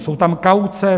Jsou tam kauce.